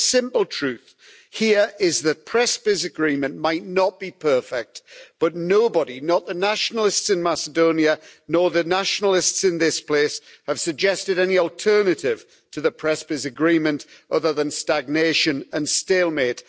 The simple truth here is that the Prespa Agreement might not be perfect but nobody not the nationalists in Macedonia nor the nationalists in this place have suggested any alternative to the Prespa Agreement other than stagnation and stalemate.